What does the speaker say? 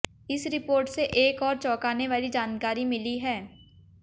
इस रिपोर्ट से एक और चौकाने वाली जानकारी मिली है